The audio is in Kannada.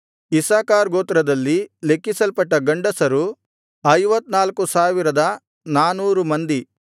ಇಸ್ಸಾಕಾರ್ ಗೋತ್ರದಲ್ಲಿ ಲೆಕ್ಕಿಸಲ್ಪಟ್ಟ ಗಂಡಸರು 54400 ಮಂದಿ